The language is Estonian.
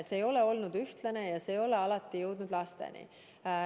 See ei ole olnud ühtlane ja see ei ole alati jõudnud lasteni.